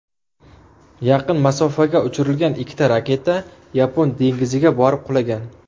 Yaqin masofaga uchirilgan ikkita raketa Yapon dengiziga borib qulagan.